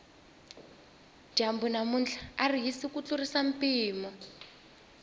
dyambu namuntlha ari hisi ku tlurisa mpimo